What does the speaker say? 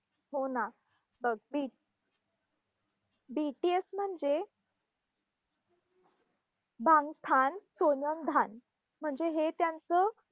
हो ना. अं बी BTS म्हणजे बंगटन सोनीओन्डन म्हणजे हे त्यांचं